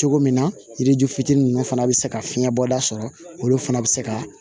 Cogo min na yiri ju fitinin ninnu fana bɛ se ka fiɲɛ bɔda sɔrɔ olu fana bɛ se ka